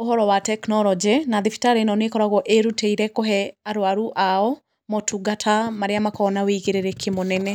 ũhoro wa tekinoronjĩ, na thibitarĩ ĩno nĩ ĩkoragwo ĩrutĩire kũhe arũaru ao motungata marĩa makoragwo na wĩigĩrĩrĩki mũnene.